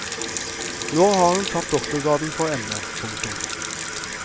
Nå har hun tatt doktorgraden på emnet. punktum